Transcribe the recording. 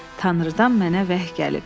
Tanrıdan mənə vəhy gəlib.